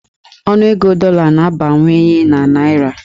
Ọnụego dọla na-abawanye na naịra.